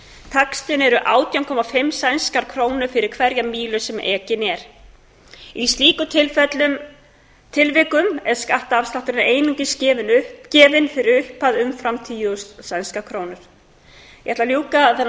taxtinn er átján hundruð og fimmtíu sænskar krónur fyrir hverja mílu sem ekin er í slíkum tilvikum er skattafslátturinn einungis gefinn fyrir upphæð umfram tíu þúsund sænskar krónur ég ætla að ljúka þennan samanburð